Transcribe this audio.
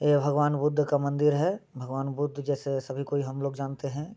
यह भगवान बुध का एक मंदिर है। भगवान बुध जैसे सभी को हम लोग जानते हैं।